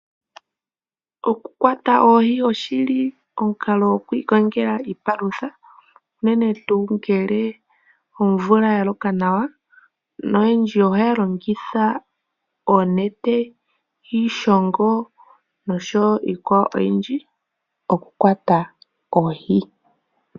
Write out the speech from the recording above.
Oku kwata oohi oshi li omukalo gwokwiikongela iipalutha, uunene tuu ngele omvula ya loka nawa. Oyendji oha ya longitha onete, iishongo nosho woo iikwawo oyindji oku kwata oohi.